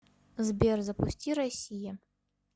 сбер запусти россия